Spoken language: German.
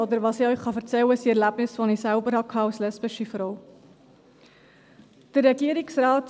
Oder was ich Ihnen erzählen kann, sind Erlebnisse, die ich als lesbische Frau selber hatte.